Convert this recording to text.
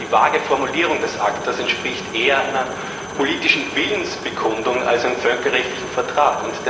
Die vage Formulierung des ACTA entspricht eher einer politischen Willensbekundung als einem völkerrechtlichen Vertrag.